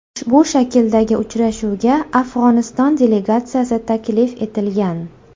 Ushbu shakldagi uchrashuvga Afg‘oniston delegatsiyasi taklif etilgan.